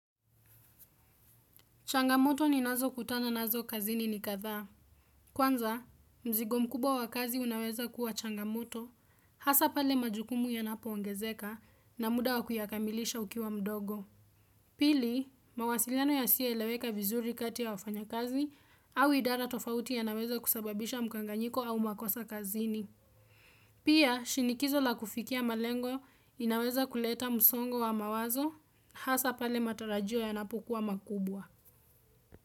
Changamoto ninazo kutana nazo kazini ni kadhaa. Kwanza, mzigo mkubwa wa kazi unaweza kuwa changamoto, hasa pale majukumu yanapo ongezeka na muda wa kuyakamilisha ukiwa mdogo. Pili, mawasiliano yasiyo eleweka vizuri kati ya wafanya kazi au idara tofauti yanaweza kusababisha mkanganyiko au makosa kazini. Pia, shinikizo la kufikia malengo linaweza kuleta msongo wa mawazo, hasa pale matarajio yanapokuwa makubwa.